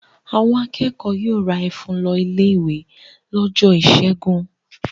Àwọn akẹ́kọ̀ọ́ yóò ra ẹ̀fún lọ ilé-ìwé lọ́jọ́ ìṣẹ́gun.